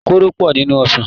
koro pọ nínú ọsán.